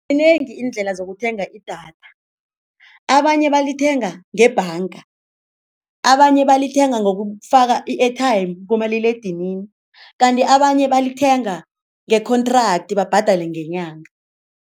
Zinengi iindlela zokuthenga idatha, abanye balithenga ngebhanga, abanye balithenga ngokufaka i-airtime kumaliledinini kanti abanye balithenga nge-contract babhadale ngenyanga.